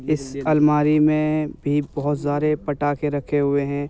इस अलमारी में भी बोहत ज़्रारे पटाखे रखे हुए हैं ।